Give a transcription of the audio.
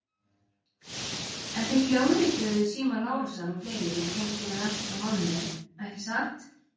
En þið hljóðrituðuð síma Lárusar og fleiri í tengslum við rannsókn á málinu, ekki satt?